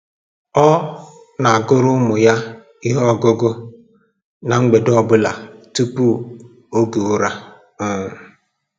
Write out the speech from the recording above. Ọ na-agụrụ ụmụ ya ihe ọgụgụ ná mgbede ọ bụla tupu oge ụra um